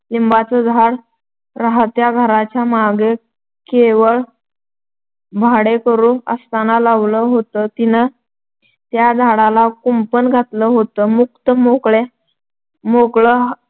लिंबाचं झाड राहत्या घराच्या मागं केवळं भाडेकरू असताना लावलं होतं. तिनं त्या झाडाला कुंपण घातलं होतं. मुक्त-मोकळं